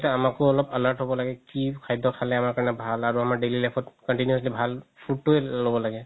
আমাকো অলপ alert হ'ব লাগে কি খাদ্য খালে আমাৰ কাৰণে ভাল আৰু আমাৰ daily life ত continuously ভাল food তোৱে ল'ব লাগে